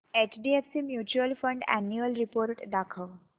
HDFC mutual fund annual report दाखव